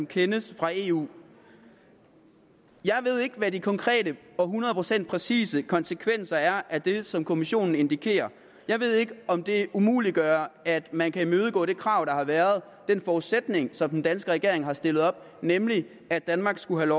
kendes fra eu jeg ved ikke hvad de konkrete og hundrede procent præcise konsekvenser er af det som kommissionen indikerer jeg ved ikke om det umuliggør at man kan imødegå det krav der har været den forudsætning som den danske regering har stillet op nemlig at danmark skulle have